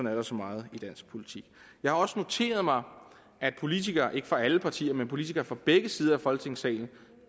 er der så meget i dansk politik jeg har også noteret mig at politikere ikke fra alle partier men politikere fra begge sider af folketingssalen